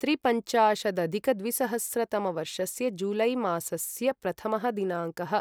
त्रिपञ्चाशदधिकद्विसहस्रतमवर्षस्य जुलै मासस्य प्रथमः दिनाङ्कः